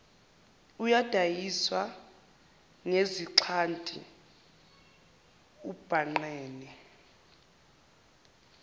udayiswa ngezixhanti ubhangqene